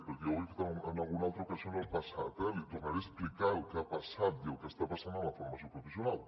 perquè ja ho he fet en alguna altra ocasió en el passat eh li tornaré a explicar el que ha passat i el que està passant en la formació professional